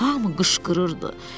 Hamı qışqırırdı: